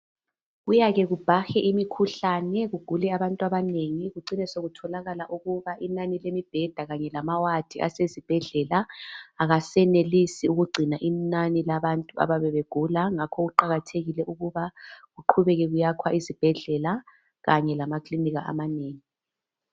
Kuyake kubhahe imikhuhlane kugule abantu abanengi kucine sokutholakala inani lemibheda kanye lamawadi asezibedlela akasenelisi ukugcina inani labantu abayabe begula ngakho kuqakathekile ukuba kuqhubeke kuyakhwa izibhedlela kanye lamakilinika amanengi.